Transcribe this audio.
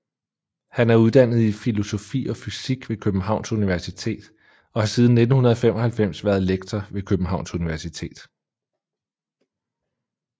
Han er uddannet i filosofi og fysik ved Københavns Universitet og har siden 1995 været lektor ved Københavns Universitet